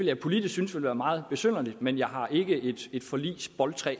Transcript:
jeg politisk synes var meget besynderligt men jeg har ikke et forligsboldtræ